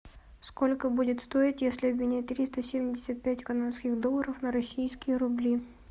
сколько будет стоить если обменять триста семьдесят пять канадских долларов на российские рубли